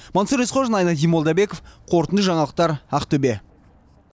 мансұр есқожин айнадин молдабеков қорытынды жаңалықтар ақтөбе